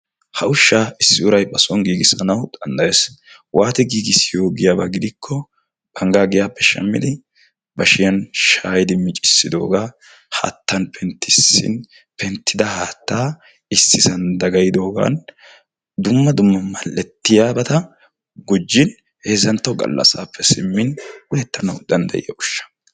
ha ushsha issi uray ba soon giigisanaw danddayees. waatti giigissiyo giyaaba giiko bangga giyappe shammin bashshiyaan miccissidooga haattan penttissin penttida haatta issisan dagayyidoogan dumm adumma mal'ettiyaabata gujjin heezzantto gallassape simmin uyana danddayetees.